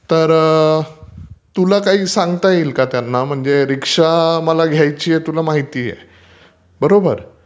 तर तुला काहि सांगता येईल का त्यांना, रीक्षा आम्हाला घ्यायचीय तुला माहितेय. बरोबर!